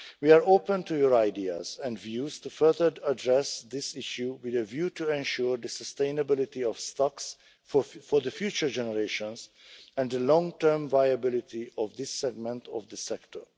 We are open to your ideas and views to further address this issue with a view to ensuring the sustainability of stocks for future generations and the long-term viability of this segment of the sector.